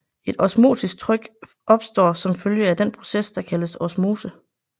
Et osmotisk tryk opstår som følge af den proces der kaldes osmose